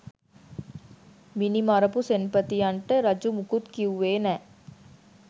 මිනි මරපු සෙන්පතියන්ට රජු මුකුත් කිව්වේ නෑ